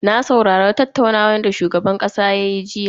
Na saurari tattaunawar da shugaban kasa ya yi jiya.